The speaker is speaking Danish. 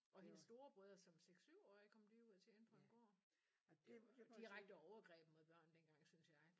Og hendes storebrødre som 6 7 årige kom de ud og tjene på en gård det var direkte overgreb mod børn dengang synes jeg